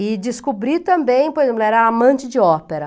E descobri também, a amante de ópera.